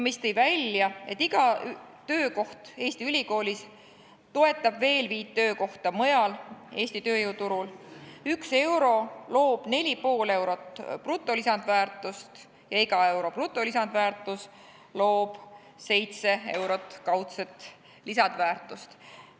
See tõi välja, et iga töökoht Eesti ülikoolis toetab veel viit töökohta mujal Eesti tööjõuturul, 1 euro loob 4,5 eurot brutolisandväärtust ja iga euro brutolisandväärtust loob 7 eurot kaudset lisandväärtust.